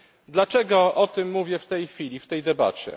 Dlaczego o tym mówię w tej chwili w tej debacie?